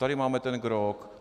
Tady máme ten grog.